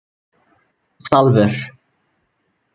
Salvör